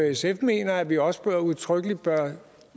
sf mener at vi også udtrykkeligt bør